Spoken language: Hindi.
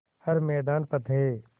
हर मैदान फ़तेह